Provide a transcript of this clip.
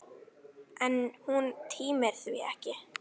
En hún tímir því ekki!